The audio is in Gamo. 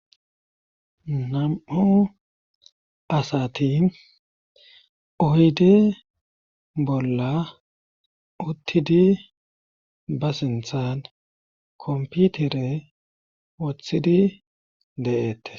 Nam'u asati oyde bolla uttidi ba sinthan komputere woththidi de'ette.